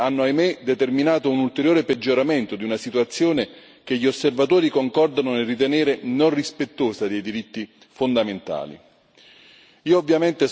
Le vicende post golpe hanno, ahimè, determinato un ulteriore peggioramento di una situazione che gli osservatori concordano nel ritenere non rispettosa dei diritti fondamentali.